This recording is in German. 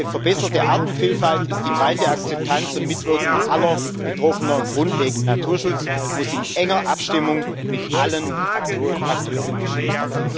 Für eine verbesserte Artenvielfalt ist die breite Akzeptanz und Mitwirkung aller Betroffenen grundlegend. Naturschutz muss in enger Abstimmung mit allen Akteuren geschehen.